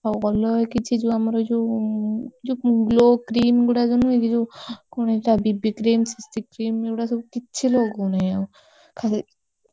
ଆଉ ଅଲଗା କିଛି ଯୋଉ ଆମର ଏଇ ଯୋଉ glow cream ଗୁଡ଼ା ନୁହେଁ କି ଯୋଉ କଣ ଏଇଟା BB cream CC cream ଏଗୁଡା ସବୁ କିଛି ଲଗଉନି ଆଉ ଖାଲି।